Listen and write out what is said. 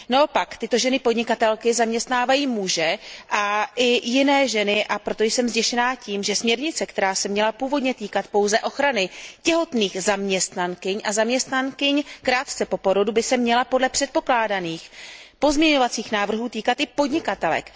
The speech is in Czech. Naopak, tyto ženy podnikatelky zaměstnávají muže a i jiné ženy, a proto jsem zděšená tím, že směrnice, která se měla původně týkat pouze ochrany těhotných zaměstnankyň a zaměstnankyň krátce po porodu, by se měla podle předpokládaných pozměňovacích návrhů týkat i podnikatelek.